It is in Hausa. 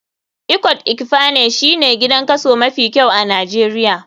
Ikot ekpene shine gidan kaso mafi kyau a nijeria.